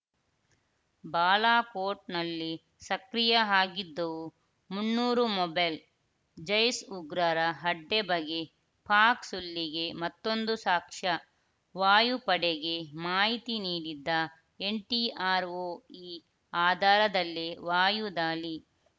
ಬಾಲಾಕೋಟ್‌ನಲ್ಲಿ ಸಕ್ರಿಯ ಆಗಿದ್ದವು ಮುನ್ನೂರು ಮೊಬೈಲ್‌ ಜೈಷ್‌ ಉಗ್ರರ ಅಡ್ಡೆ ಬಗ್ಗೆ ಪಾಕ್‌ ಸುಳ್ಳಿಗೆ ಮತ್ತೊಂದು ಸಾಕ್ಷ್ಯ ವಾಯುಪಡೆಗೆ ಮಾಹಿತಿ ನೀಡಿದ್ದ ಎನ್‌ ಟಿ ಆರ್‌ ಒ ಈ ಆಧಾರದಲ್ಲೇ ವಾಯುದಾಳಿ